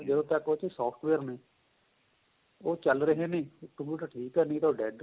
ਜਦੋਂ ਤੱਕ ਉਹ ਚ software ਨੇ ਉਹ ਚੱਲ ਰਹੇ ਨੇ computer ਠੀਕ ਏ ਨਹੀਂ ਤਾਂ ਉਹ dead